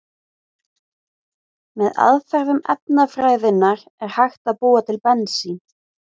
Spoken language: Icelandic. Með aðferðum efnafræðinnar er hægt að búa til bensín.